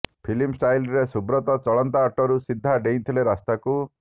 filmy ଷ୍ଟାଇଲରେ ସୁବ୍ରତ ଚଳନ୍ତା ଅଟୋରୁ ସିଧା ଡେଇଁଥିଲେ ରାସ୍ତାକୁ